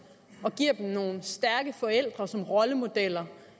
og giver dem nogle stærke forældre som rollemodeller